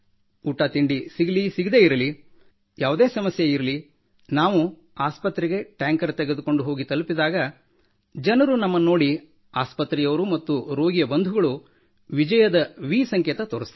ಊಟ ತಿಂಡಿ ಸಿಗಲಿ ಸಿಗದಿರಲಿ ಯಾವುದೇ ಸಮಸ್ಯೆ ಬರಲಿ ನಾವು ಆಸ್ಪತ್ರೆಗೆ ಟ್ಯಾಂಕರ್ ತೆಗೆದುಕೊಂಡು ತಲುಪಿದಾಗ ಜನರು ನಮ್ಮನ್ನು ನೋಡಿ ಆಸ್ಪತ್ರೆಯವರು ಮತ್ತು ರೋಗಿಯ ಬಂಧುಗಳು ವಿಜಯದ ವಿ ಸಂಕೇತ ತೋರುತ್ತಾರೆ